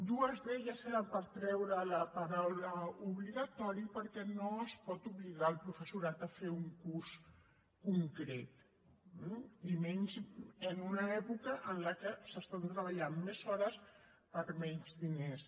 dues d’aquestes eren per treure la paraula obligatori perquè no es pot obligar el professorat a fer un curs concret eh i menys en una època en la que es treballen més hores per menys diners